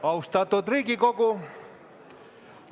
Austatud Riigikogu!